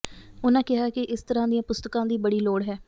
ਉਨ੍ਹਾਂ ਕਿਹਾ ਕਿ ਇਸ ਤਰ੍ਹਾਂ ਦੀਆਂ ਪੁਸਤਕਾਂ ਦੀ ਬੜੀ ਲੋੜ ਹੈ